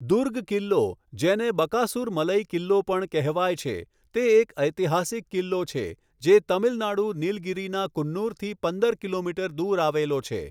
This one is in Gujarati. દુર્ગ કિલ્લો, જેને બકાસુર મલઈ કિલ્લો પણ કહેવાય છે, તે એક ઐતિહાસિક કિલ્લો છે જે તમિલનાડુ, નિલગિરીના કુન્નુરથી પંદર કિલોમીટર દૂર આવેલો છે.